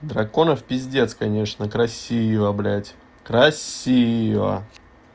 драконов пиздец конечно красиво блять красиво